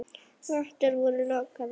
Götur voru lokaðar fyrir umferð.